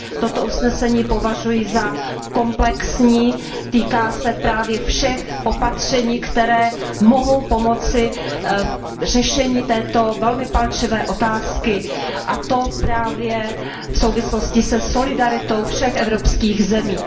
Toto usnesení považuji za komplexní, týká se právě všech opatření, která mohou pomoci k řešení této velmi palčivé otázky, a to právě v souvislosti se solidaritou všech evropských zemí.